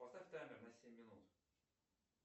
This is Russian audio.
поставь таймер на семь минут